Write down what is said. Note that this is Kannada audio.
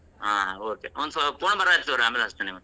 ಹಾ ಹಾ okay ಒಂದ್ ಸ್ವಲ್ಪ phone ಬರಾತೇತಿ ತುಗೋರಿ ಆಮೇಲ್ ಹಚ್ಚತೇನಿ ನಿಮ್ಗ್.